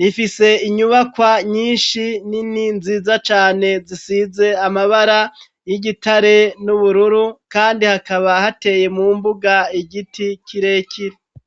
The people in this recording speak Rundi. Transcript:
rifise inyubakwa nyinshi nini nziza cane zisize amabara y'igitare n'ubururu, kandi hakaba hateye mu mbuga igiti kirekire.